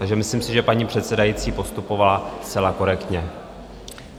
Takže myslím si, že paní předsedající postupovala zcela korektně.